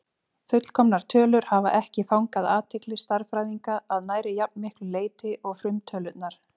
Fullkomnar tölur hafa ekki fangað athygli stærðfræðinga að nærri jafn miklu leyti og frumtölurnar.